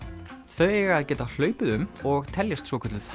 þau eiga að geta hlaupið um og teljast svokölluð